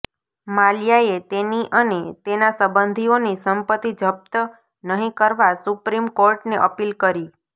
માલ્યાએ તેની અને તેના સંબંધીઓની સંપત્તિ જપ્ત નહીં કરવા સુપ્રીમ કોર્ટને અપીલ કરી